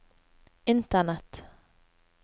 internett